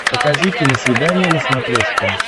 покажи киносвидание на смотрешке